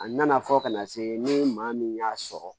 A nana fɔ ka na se ni maa min y'a sɔrɔ